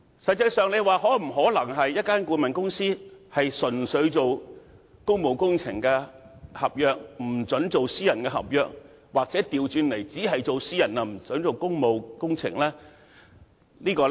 實際上，一間顧問公司是否可以只承接公務工程合約，而不承接私人合約，又或倒過來，只承接私人合約，而不准承接公務工程合約呢？